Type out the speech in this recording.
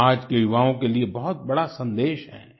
ये आज के युवाओं के लिए बहुत बड़ा सन्देश है